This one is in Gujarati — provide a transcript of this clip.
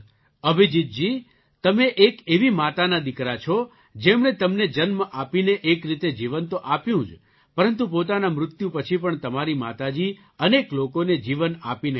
અભિજીતજી તમે એક એવી માતાના દીકરા છો જેમણે તમને જન્મ આપીને એક રીતે જીવન તો આપ્યું જ પરંતુ પોતાના મૃત્યુ પછી પણ તમારી માતા જી અનેક લોકોને જીવન આપીને ગયાં